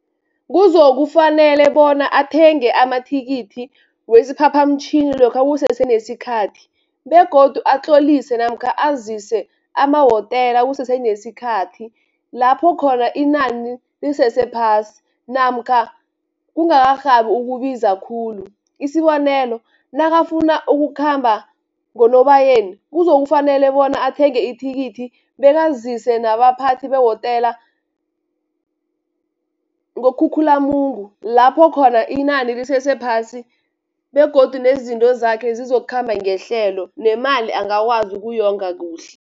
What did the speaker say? Kuzokufanele bona athenge amathikithi wesiphaphamtjhini lokha kusesenesikhathi, begodu atlolise namkha azise amahotela kusese nesikhathi, lapho khona inani lisese phasi, namkha kungakarhabi ukubiza khulu. Isibonelo, nakafuna ukukhamba ngoNobayeni, kuzokufanele bona athenge ithikithi bekazise nabaphathi behotela, ngoKhukhulamungu, lapho khona inani lisese phasi, begodu nezinto zakhe zizokukhamba ngehlelo, nemali angakwazi ukuyonga kuhle.